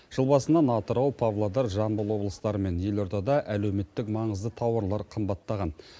жыл басынан атырау павлодар жамбыл облыстары мен елордада әлеуметтік маңызды тауарлар қымбаттаған